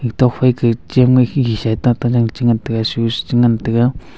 itok phai ke chem neg khe khe sa a tata jang che ngan taga switch che ngan tega.